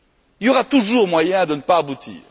Il y aura toujours moyen de ne pas aboutir.